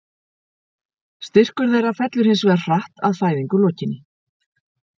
Styrkur þeirra fellur hins vegar hratt að fæðingu lokinni.